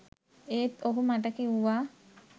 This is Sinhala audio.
ඒත් ඔහු මට කිව්වා